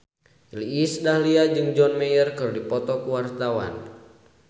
Iis Dahlia jeung John Mayer keur dipoto ku wartawan